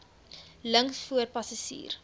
links voor passasier